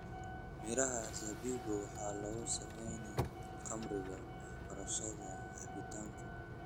Miraha zabibu waxaa lagu sameeyaa khamriga warshadaha cabitaanka.